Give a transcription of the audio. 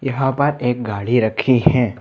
यहां पर एक गाड़ी रखी है।